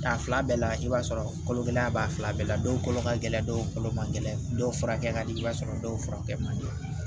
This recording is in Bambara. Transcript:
A fila bɛɛ la i b'a sɔrɔ kalo kelen ya b'a fila bɛɛ la dɔw kolo ka gɛlɛn dɔw kolo ma gɛlɛya dɔw furakɛ ka di i b'a sɔrɔ dɔw furakɛ man di